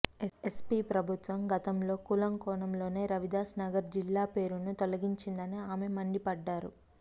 SP ప్రభుత్వం గతంలో కుల కోణంలోనే రవిదాస్ నగర్ జిల్లా పేరును తొలగించిందని ఆమె మండిపడ్డారు